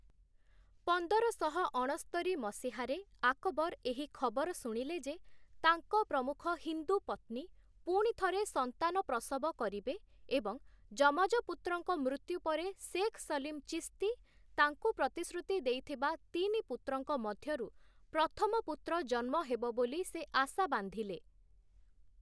ପନ୍ଦରଶହ ଅଣସ୍ତରି ମସିହାରେ ଆକବର ଏହି ଖବର ଶୁଣିଲେ ଯେ, ତାଙ୍କ ପ୍ରମୁଖ ହିନ୍ଦୁ ପତ୍ନୀ ପୁଣିଥରେ ସନ୍ତାନ ପ୍ରସବ କରିବେ ଏବଂ ଯମଜ ପୁତ୍ରଙ୍କ ମୃତ୍ୟୁ ପରେ ସେଖ୍ ସଲିମ୍ ଚିସ୍ତି ତାଙ୍କୁ ପ୍ରତିଶ୍ରୁତି ଦେଇଥିବା ତିନି ପୁତ୍ରଙ୍କ ମଧ୍ୟରୁ ପ୍ରଥମ ପୁତ୍ର ଜନ୍ମ ହେବ ବୋଲି ସେ ଆଶା ବାନ୍ଧିଲେ ।